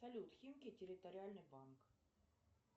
салют химки территориальный банк